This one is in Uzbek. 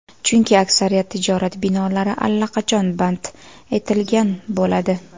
Chunki aksariyat tijorat binolari allaqachon band etilgan bo‘ladi.